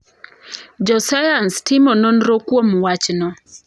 Josayans timo nonro kuom wachno.